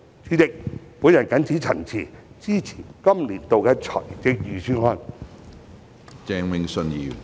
主席，我謹此陳辭，支持《2021年撥款條例草案》。